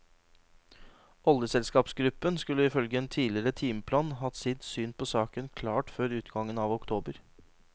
Oljeselskapsgruppen skulle ifølge en tidligere timeplan hatt sitt syn på saken klart før utgangen av oktober.